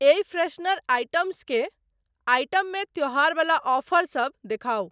एहि freshener items के item मे त्यौहार बला ऑफर सब देखाउ।